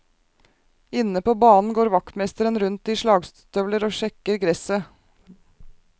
Inne på banen går vaktmesteren rundt i slagstøvler og sjekker gresset.